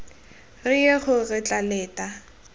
reye gore re tla leta